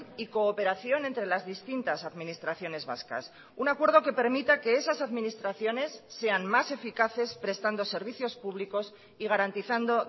y cooperación entre las distintas administraciones vascas un acuerdo que permita que esas administraciones sean más eficaces prestando servicios públicos y garantizando